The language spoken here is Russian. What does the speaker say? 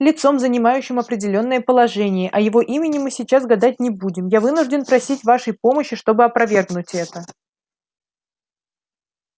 лицом занимающим определённое положение о его имени мы сейчас гадать не будем я вынужден просить вашей помощи чтобы опровергнуть это